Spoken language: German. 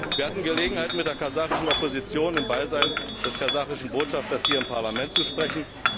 Wir hatten Gelegenheit mit der kasachischen Opposition im Beisein des kasachischen Botschafters hier mit Parlament zu sprechen.